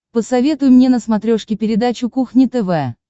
посоветуй мне на смотрешке передачу кухня тв